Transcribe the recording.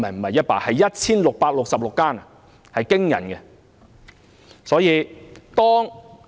是 1,666 間，數字驚人。